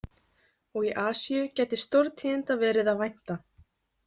Og í Asíu gæti stórtíðinda verið að vænta.